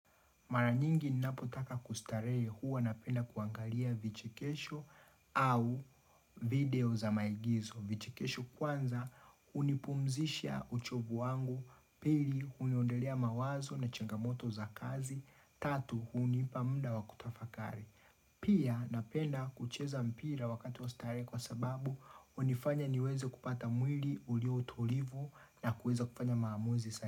Maranyingi ninapotaka kustarehe huwa napenda kuangalia vichekesho au video za maigizo. Vichekesho kwanza unipumzisha uchovu wangu, pili uniondelea mawazo na changamoto za kazi, tatu unipa muda wakutafakari. Pia napenda kucheza mpira wakati wa starehe kwa sababu hunifanya niweze kupata mwili ulio utulivu na kuweza kufanya maamuzi sahihi.